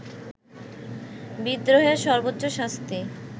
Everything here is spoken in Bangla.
বিদ্রোহের সর্বোচ্চ শাস্তি